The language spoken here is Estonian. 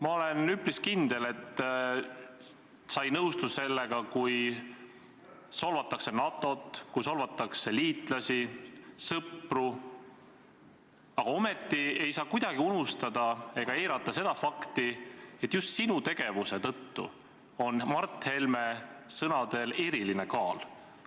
Ma olen üpris kindel, et sa ei nõustu sellega, kui solvatakse NATO-t, kui solvatakse liitlasi, sõpru, aga ometi ei saa kuidagi unustada ega eirata seda fakti, et just sinu tegevuse tõttu on Mart Helme sõnadel eriline kaal.